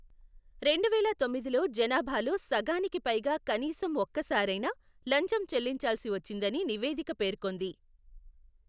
రెండువేల తొమ్మిదిలో జనాభాలో సగానికి పైగా కనీసం ఒక్కసారైనా లంచం చెల్లించాల్సి వచ్చిందని నివేదిక పేర్కొంది.